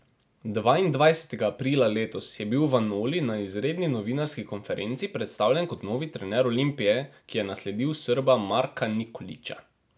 Dvaindvajsetega aprila letos je bil Vanoli na izredni novinarski konferenci predstavljen kot novi trener Olimpije, ki je nasledil Srba Marka Nikolića.